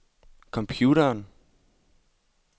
computeren